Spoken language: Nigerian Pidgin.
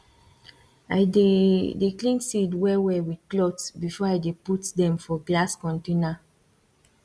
i dey dey clean seed well well with cloth before i dey put dem for glass container